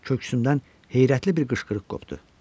Köksümdən heyrətli bir qışqırıq qopdu.